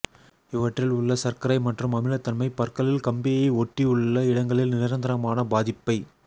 இவற்றில் உள்ள சர்க்கரை மற்றும் அமிலத்தன்மை பற்களில் கம்பியை ஒட்டி உள்ள இடங்களில் நிரந்தரமான பாதிப்பை